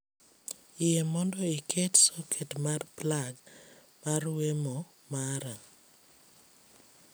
Yie mondo iket soket mar plag mar wemo mara